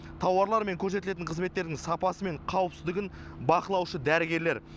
тауарлар мен көрсетілетін қызметтердің сапасы мен қауіпсіздігін бақылаушы дәрігерлер